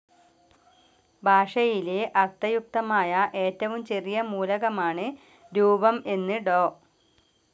ഭാഷയിലെ അർത്ഥയുക്തമായ ഏറ്റവും ചെറിയ മൂലകമാണ് രൂപം എന്ന് ഡോ.